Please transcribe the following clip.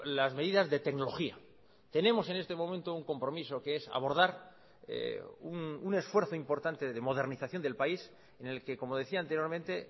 las medidas de tecnología tenemos en este momento un compromiso que es abordar un esfuerzo importante de modernización del país en el que como decía anteriormente